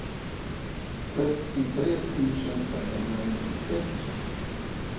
trettiotre tusen femhundranittiosex